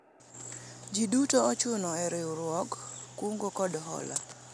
jii duto ochuno e riwruog kungo kod hola